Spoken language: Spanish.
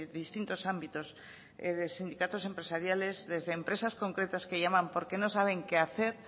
distintos ámbitos de sindicatos empresariales desde empresas concretas que llaman por qué no saben qué hacer